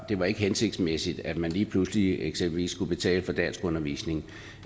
var hensigtsmæssigt at man lige pludselig eksempelvis skulle betale for danskundervisning